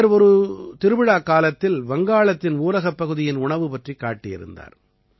இவர் ஒரு திருவிழாக்காலத்தில் வங்காளத்தின் ஊரகப்பகுதியின் உணவு பற்றிக் காட்டியிருந்தார்